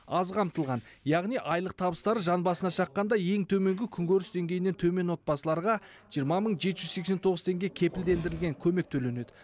аз қамтылған яғни айлық табыстары жан басына шаққанда ең төменгі күнкөріс деңгейінен төмен отбасыларға жиырма мың жеті жүз сексен тоғыз теңге кепілдендірілген көмек төленеді